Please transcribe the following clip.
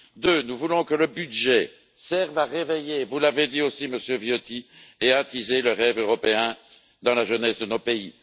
Deuxièmement, nous voulons que le budget serve à réveiller, vous l'avez dit aussi, Monsieur Viotti, et à attiser le rêve européen dans la jeunesse de nos pays.